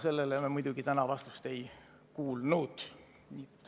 Sellele me muidugi täna vastust ei kuulnud.